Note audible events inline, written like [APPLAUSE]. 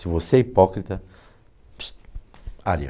Se você é hipócrita, [UNINTELLIGIBLE] aria.